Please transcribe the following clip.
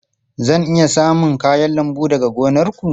Zan iya samun kayan lambu daga gonar ku?